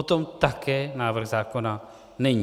O tom také návrh zákona není.